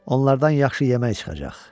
Onlardan yaxşı yemək çıxacaq.